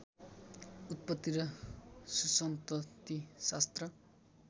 उत्पत्ति र सुसन्ततिशास्त्र